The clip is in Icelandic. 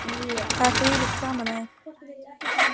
Það er þvílíkt gaman af því.